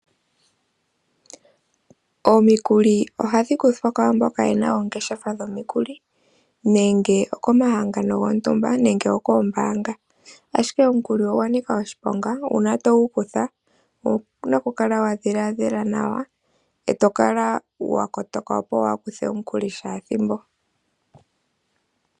Omikuli ohadhi kuthwa kwaa mboka ye na oongeshefa dhomikuli nenge okomahangano gontumba nenge okoombaanga. Ashike omukuli ogwa nika oshiponga uuna togu kutha owu na okukala wa dhiladhila nawa e to kala wa kotoka, opo waa kuthe omukuli shaa thimbo.